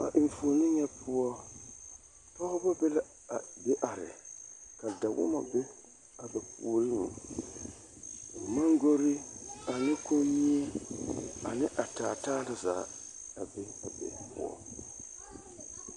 A enfuoni nyɛ poɔ pɔɡebɔ be la a be are ka dɔbɔ be a ba puoriŋ mɔŋɡori ane komie ane a taataa na zaa a be a be poɔŋ.